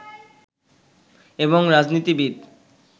এবং রাজনীতিবিদ